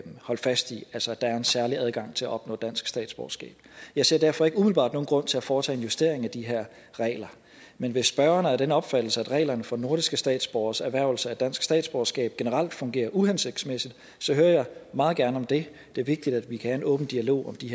holde fast i altså at der er en særlig adgang til at opnå dansk statsborgerskab jeg ser derfor ikke umiddelbart nogen grund til at foretage en justering af de her regler men hvis spørgeren er af den opfattelse at reglerne for nordiske statsborgeres erhvervelse af dansk statsborgerskab generelt fungerer uhensigtsmæssigt hører jeg meget gerne om det det er vigtigt at vi kan have en åben dialog om de